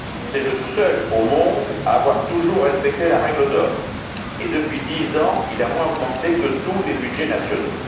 C'est le seul au monde à avoir toujours respecté la règle d'or et, depuis dix ans, il a moins augmenté que tous les budgets nationaux.